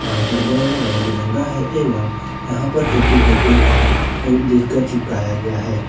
यहां पर बैलून रंग बिरंगा है एवं यहां पर हैप्पी बर्थडे का स्टीकर चिपकाए गया है।